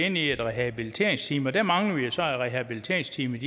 ind i et rehabiliteringsteam og der mangler vi så at rehabiliteringsteamet